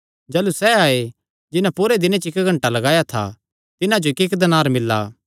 जाह़लू सैह़ आये जिन्हां पूरे दिने च इक्क घंटा लगाया था तिन्हां जो इक्कइक्क दीनार मिल्ला